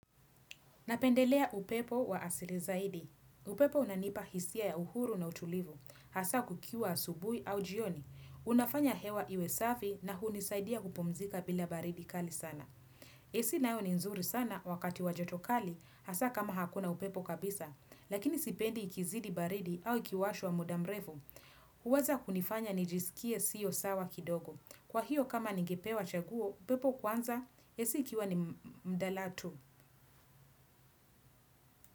Napendelea upepo wa asili zaidi. Upepo unanipa hisia ya uhuru na utulivu. Hasa kukiwa asubuhi au jioni. Unafanya hewa iwe safi na hunisaidia kupumzika bila baridi kali sana. AC nayo ni nzuri sana wakati wa joto kali hasa kama hakuna upepo kabisa. Lakini sipendi ikizidi baridi au ikiwashwa muda mrefu. Huweza kunifanya nijisikie siyo sawa kidogo. Kwa hiyo kama ningepewa chaguo, upepo kwanza, AC ikiwa ni mbadala tu.